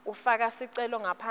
ufaka sicelo ngaphansi